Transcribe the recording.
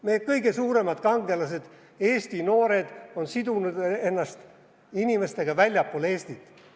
Meie kõige suuremad kangelased, Eesti noored, on sidunud ennast inimestega väljastpoolt Eestit.